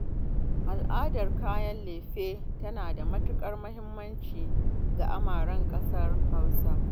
Al'adar kayan lefe tana da matuƙar muhimmanci ga amaren ƙasar Hausa